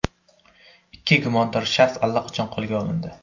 Ikki gumondor shaxs allaqachon qo‘lga olindi.